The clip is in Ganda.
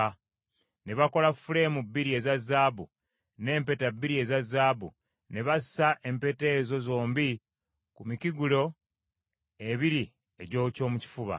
ne bakola fuleemu bbiri eza zaabu n’empeta bbiri eza zaabu; ne bassa empeta ezo zombi ku mikugiro ebiri egy’ekyomu kifuba.